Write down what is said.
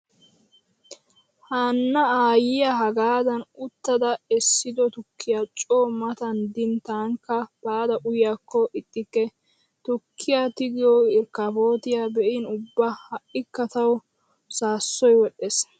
Hanna aayyiya hagaadan uttada essido tukkiyaa coo matan din tankka baada uyyiyaakko ixxikke. Tukkiya tigiyo irkafootiya be'in ubba ha'ikka tawu saassoy wodhdhees.